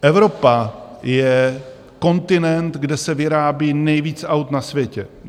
Evropa je kontinent, kde se vyrábí nejvíc aut na světě...